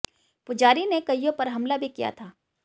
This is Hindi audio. पुजारी ने कइयों पर हमला भी किया था